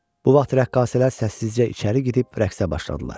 Bu vaxt rəqqasələr səssizcə içəri gedib rəqsə başladılar.